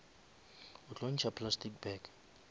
o tlo ntšha plastic bag